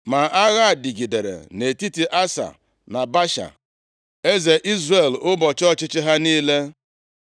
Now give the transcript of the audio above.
Ma agha dịgidere nʼetiti Asa na Baasha, eze Izrel ụbọchị ọchịchị ha niile.